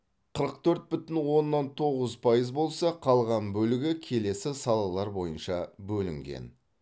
қырық төрт бүтін оннан тоғыз пайыз болса қалған бөлігі келесі салалар бойынша бөлінген